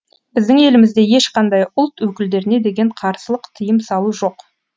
біздің елімізде ешқандай ұлт өкілдеріне деген қарсылық тиым салу жоқ